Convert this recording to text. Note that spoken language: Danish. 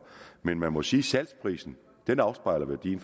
men man må sige at salgsprisen afspejler værdien